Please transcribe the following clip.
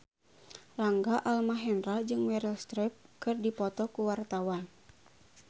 Rangga Almahendra jeung Meryl Streep keur dipoto ku wartawan